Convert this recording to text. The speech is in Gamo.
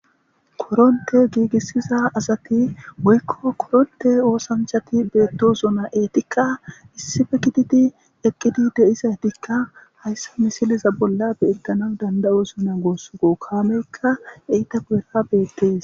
koronte giigissiza asati woykko koronte oosanchati beetto zuna eetikka issife kititi eqqidi de7isadikka hayssa misiliza bolla beettana danda7o sonan goossu go kaameykka eyta kuhera beettees